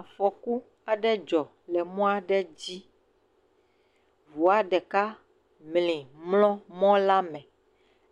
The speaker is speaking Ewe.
Afɔku aɖe dzɔ le mɔ aɖe dzi. Ŋua ɖeka mli mlɔ mɔ la me